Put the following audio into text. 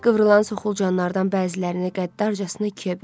Qıvrılan soxulcanlardan bəzilərini qəddarcasına ikiyə bölürdü.